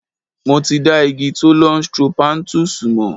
Mo ti dá igi Thollon Strophanthus mọ̀.